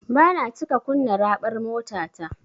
Bana cika kunna raɓar motata.